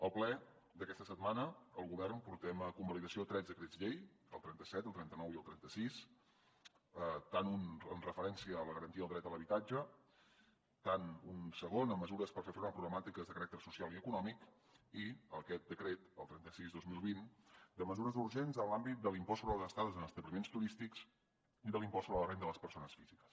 al ple d’aquesta setmana el govern portem a convalidació tres decrets llei el trenta set el trenta nou i el trenta sis un en referència a la garantia del dret a l’habitatge un segon amb mesures per fer front a problemàtiques de caràcter social i econòmic i aquest decret el trenta sis dos mil vint de mesures urgents en l’àmbit de l’impost sobre les estades en establiments turístics i de l’impost sobre la renda de les persones físiques